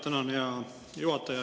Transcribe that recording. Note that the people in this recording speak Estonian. Tänan, hea juhataja!